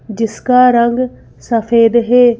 जिसका रंग सफेद है।